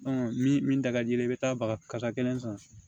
min da ka di i ye i bɛ taa baga kasa kelen san